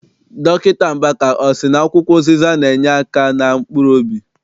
Dọkịta Mbaka, ọ sị na akwụkwọ ụzịza na- enyeaka na mkpuruobi?